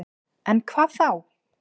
En hvað þá?